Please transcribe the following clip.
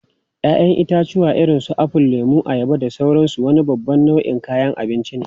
Ya'yan itãcen irin su apple, lemu, ayaba, da sauransu wani babban nau'in kayan abinci ne.